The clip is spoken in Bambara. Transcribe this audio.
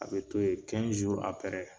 A be to yen